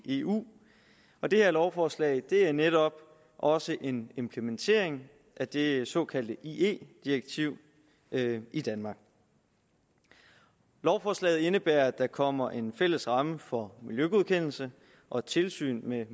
i eu og det her lovforslag er netop også en implementering af det såkaldte ie direktiv i danmark lovforslaget indebærer at der kommer en fælles ramme for miljøgodkendelser og et tilsyn med